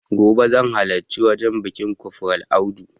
Gobe zan halarci wajen biƙin kofral audu